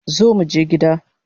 Zo muje gida